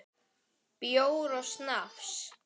Bjór og snafs.